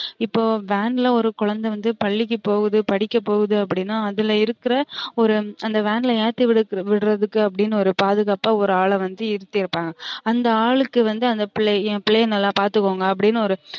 இப்ப van ல ஒரு குழந்தை வந்து பள்ளிக்கு போகுது படிக்க போகுது அப்டினா அதுல இருக்குற ஒரு அந்த van ல ஏத்தி விடுறதுக்குனு அப்டின்னு ஒரு பாதுக்காப்பா ஒரு ஆள வந்து இருத்திருப்பாங்க அந்த ஆளுக்கு வந்து அந்த பிள்ளைய என் பிள்ளைய நல்ல பாத்துகோங்க அப்டினு ஒரு